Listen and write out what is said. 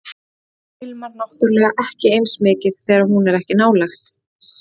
Heimurinn ilmar náttúrlega ekki eins mikið þegar hún er ekki nálægt